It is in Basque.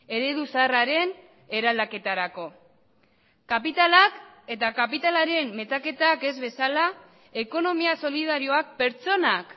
eredu zaharraren eraldaketarako kapitalak eta kapitalaren metaketak ez bezala ekonomia solidarioak pertsonak